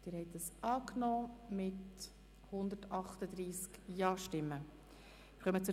Sie haben die Ziffer 3 mit 138 Ja-Stimmen angenommen.